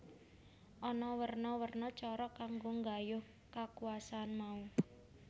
Ana werna werna cara kanggo nggayuh kakuwasan mau